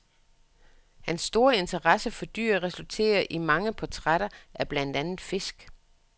Hans store interesse for dyr resulterer i mange portrætter af blandt andet fisk.